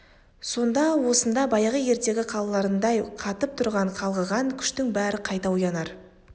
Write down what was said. сонда осында баяғы ертегі қалаларындай қатып тұрған қалғыған күштің бәрі қайта оянар